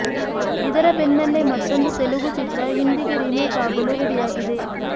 ಇದರ ಬೆನ್ನಲ್ಲೇ ಮತ್ತೊಂದು ತೆಲುಗು ಚಿತ್ರ ಹಿಂದಿಗೆ ರಿಮೇಕ್ ಆಗಲು ರೆಡಿಯಾಗಿದೆ